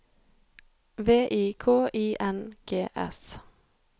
V I K I N G S